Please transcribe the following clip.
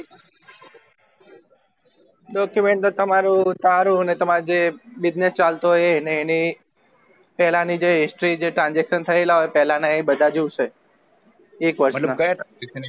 document તો તમારું તારું અને તમારું જે business ચાલતો હોય ને એની પેલાની જે history જે transaction થયેલા હોય પેલા ના અ બધા જોયીશે એક વર્ષ ના